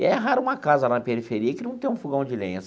E é raro uma casa na periferia que não tenha um fogão de lenha.